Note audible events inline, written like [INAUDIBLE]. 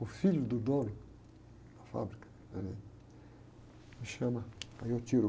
O filho do dono da fábrica, [UNINTELLIGIBLE] me chama, aí eu tiro.